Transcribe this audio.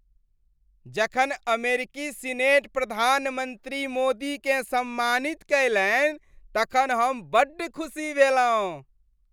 जखन अमेरिकी सीनेट प्रधानमन्त्री मोदीकेँ सम्मानित कयलनि तखन हम बड्ड खुसी भेलहुँ।